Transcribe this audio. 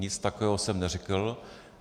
Nic takového jsem neřekl.